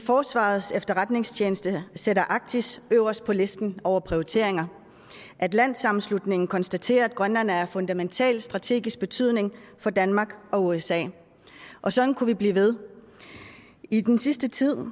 forsvarets efterretningstjeneste sætter arktis øverst på listen over prioriteringer og atlantsammenslutningen konstaterer at grønland er af fundamental strategisk betydning for danmark og usa og sådan kunne vi blive ved i den sidste tid